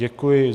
Děkuji.